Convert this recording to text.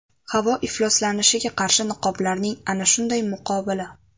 Havo ifloslanishiga qarshi niqoblarning ana shunday muqobili.